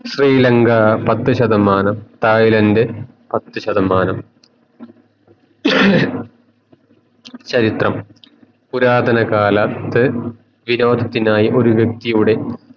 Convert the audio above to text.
ശ്രീലങ്ക പത്തു ശതമനം തൈലാൻഡ് പത്തു ശതമാനം ചരിത്രം പുരാതന കാല ത്തു വിനോദനത്തിനായി ഒരു വ്യക്തിയുടെ